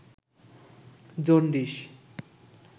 jaundice